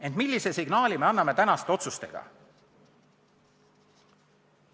Ent millise signaali me anname tänaste otsustega?